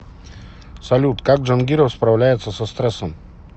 салют как джангиров справляется со стрессом